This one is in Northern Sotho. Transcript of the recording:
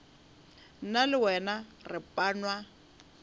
nna le wena re panwa